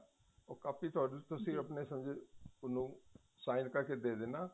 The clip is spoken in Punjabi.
ਉਹ ਕਾਪੀ ਉਹਨੂੰ ਤੁਸੀਂ ਉਹਨੂੰ sign ਕਰਕੇ ਦੇ ਦੇਣਾ